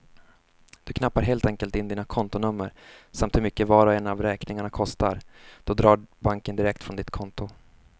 Du knappar helt enkelt in dina kontonummer samt hur mycket var och en av räkningarna kostar, så drar banken direkt från ditt konto.